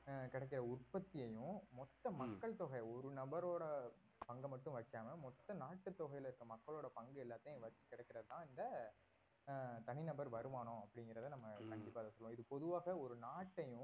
அஹ் கிடைக்கிற உற்பத்தியையும் மொத்த மக்கள் தொகை ஒரு நபரோட பங்க மட்டும் வைக்காம மொத்த நாட்டுத் தொகையில இருக்கிற மக்களோட பங்கு எல்லாத்தையும் வச்சி கிடைக்கிறது தான் இந்த அஹ் தனிநபர் வருமானம் அப்படிங்கறத நம்ம கண்டிப்பா இத சொல்லுவோம் இது பொதுவாக ஒரு நாட்டையும்